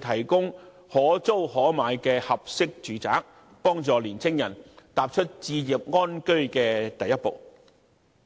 提供可租可買的合適住宅，幫助年青人踏出置業安居的第一步。